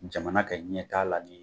Jamana ka ɲɛ taa la di.